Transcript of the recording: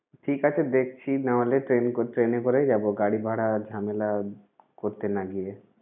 ঠিক আছে দেখছি। না হলে ট্রেনে করে এ করেই যাব, গাড়ি ভাড়া ঝামেলা করতে না গিয়ে।